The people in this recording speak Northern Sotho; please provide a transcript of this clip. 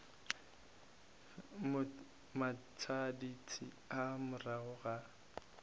mo matšatšing a morago ga